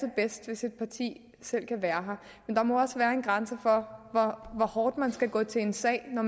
bedst hvis et parti selv kan være her men der må også være en grænse for hvor hårdt man skal gå til en sag når